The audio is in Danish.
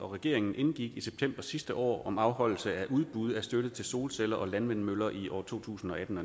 og regeringen indgik i september sidste år om afholdelse af udbud af støtte til solceller og landvindmøller i år to tusind og atten